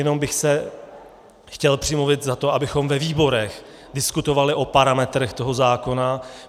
Jenom bych se chtěl přimluvit za to, abychom ve výborech diskutovali o parametrech toho zákona.